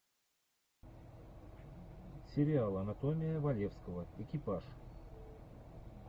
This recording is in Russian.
сериал анатомия валевского экипаж